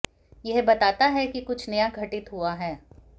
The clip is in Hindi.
यह बताता है कि कुछ नया घटित हुआ है